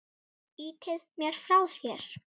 Ýtir mér frá þér.